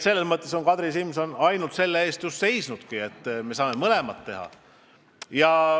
Kadri Simson on ainult selle eest seisnudki, et tuleb mõlemat teha.